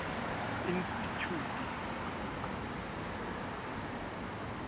institjhute